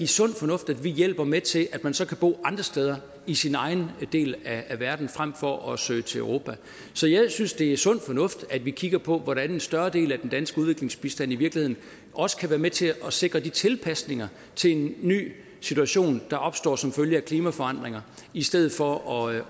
sund fornuft at vi hjælper med til at man så kan bo andre steder i sin egen del af verden frem for at søge til europa så jeg synes det er sund fornuft at vi kigger på hvordan en større del af den danske udviklingsbistand i virkeligheden også kan være med til at sikre de tilpasninger til en ny situation der opstår som følge af klimaforandringer i stedet for at